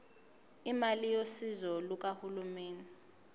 imali yosizo lukahulumeni